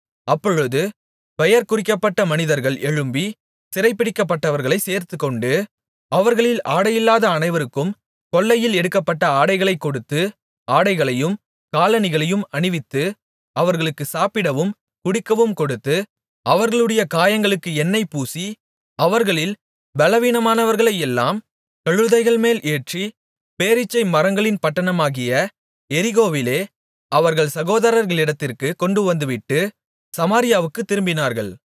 அப்பொழுது பெயர் குறிக்கப்பட்ட மனிதர்கள் எழும்பி சிறைபிடிக்கப்பட்டவர்களைச் சேர்த்துக்கொண்டு அவர்களில் ஆடையில்லாத அனைவருக்கும் கொள்ளையில் எடுக்கப்பட்ட ஆடைகளைக் கொடுத்து ஆடைகளையும் காலணிகளையும் அணிவித்து அவர்களுக்கு சாப்பிடவும் குடிக்கவும் கொடுத்து அவர்களுடைய காயங்களுக்கு எண்ணெய் பூசி அவர்களில் பெலவீனமானவர்களையெல்லாம் கழுதைகள்மேல் ஏற்றி பேரீச்சை மரங்களின் பட்டணமாகிய எரிகோவிலே அவர்கள் சகோதரர்களிடத்திற்குக் கொண்டுவந்துவிட்டு சமாரியாவுக்குத் திரும்பினார்கள்